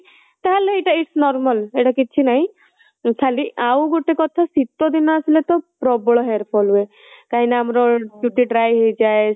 ତାହାଲେ ଏଇଟା its normal ଏଇଟା କିଛି ନାହିଁ ଖାଲି ଆଉ ଗୋଟେ କଥା ଶୀତ ଦିନ ଆସିଲେ ତା ପ୍ରବଳ hair fall ହୁଏ କାହିଁକି ନା ଚୁଟି dry ହେଇଯାଏ